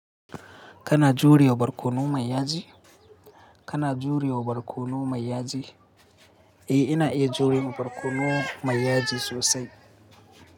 Kana jurewa barkono mai yaji? Kana juriya barkono mai yaji? Eh, ina iya jurewa barkono mai yaji sosai.